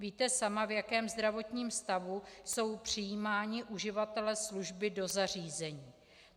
Víte sama, v jakém zdravotním stavu jsou přijímáni uživatelé služby do zařízení.